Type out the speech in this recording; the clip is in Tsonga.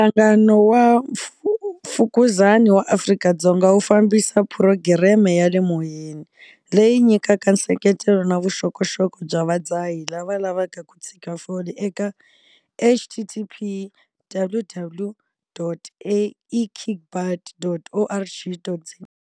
Nhlangano wa Mfukuzani wa Afrika-Dzonga wu fambisa phurogireme ya le moyeni, leyi nyikaka nseketelo na vuxokoxoko bya vadzahi lava lavaka ku tshika fole eka- http - www.ekickbutt.org.za.